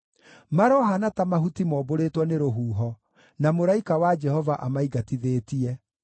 Marohaana ta mahuti mombũrĩtwo nĩ rũhuho, na mũraika wa Jehova amaingatithĩtie;